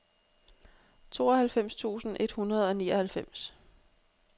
tooghalvfems tusind et hundrede og nioghalvfems